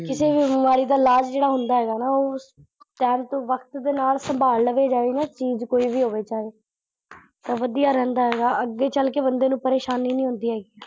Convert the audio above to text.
ਕਿਸੇ ਵੀ ਬਿਮਾਰੀ ਦਾ ਇਲਾਜ ਜਿਹੜਾ ਹੁੰਦਾ ਹੈਗਾ ਨਾ ਟੈਮ ਤੇ ਵਕਤ ਦੇ ਨਾਲ ਸੰਭਾਲ ਲਵੇ ਜਾਵੇ ਨਾ ਚੀਜ਼ ਕੋਈ ਵੀ ਹੋਵੇ ਚਾਹੇ ਤਾਂ ਵਧੀਆ ਰਹਿੰਦਾ ਆ ਗਾ ਅੱਗੇ ਚਲ ਕੇ ਬੰਦੇ ਨੂੰ ਪਰੇਸ਼ਾਨੀ ਨੀ ਹੁੰਦੀ ਹੈਗੀ।